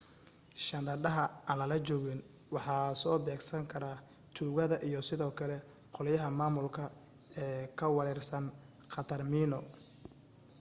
shandadaha aan lala joogin waxa soo beegsan kara tuugada iyo sidoo kale qolyaha maamulka ee ka warwarsan khatar miino